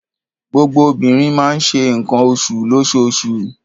Gbogbo obìnrin máa ń ṣe nǹkan oṣù lóṣooṣù.